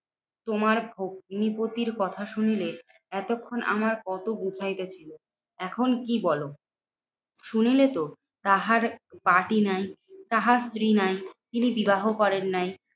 তোমার ভগ্নিপতির কথা শুনিলে এতক্ষন আমার কত এখন কি বলো? শুনলেতো তাহার বাটি নাই, তাহার স্ত্রী নাই, তিনি বিবাহ করেন নাই।